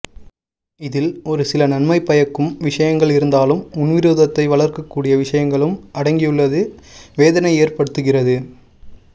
இதில் ஒரு சில நன்மை பயக்கும் விஷயங்கள் இருந்தாலும் முன்விரோதத்தை வளர்க்க கூடிய விஷயங்களும் அடங்கியுள்ளது வேதனையை ஏற்படுத்துகிறது